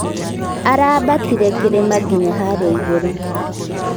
Arabatĩre kĩrĩma ngĩnya harĩa ĩgũrũ.